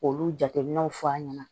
K'olu jateminɛw fɔ an ɲɛna